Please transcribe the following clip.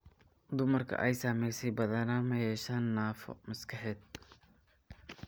Dumarka ay saamaysay badanaa ma yeeshaan naafo maskaxeed.